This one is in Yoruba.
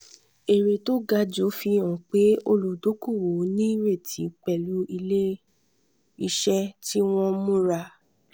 èrè tó ga jù fi hàn pé olùdókòwò nírètí pẹ̀lú ilé-iṣẹ́ tí wọ́n múra.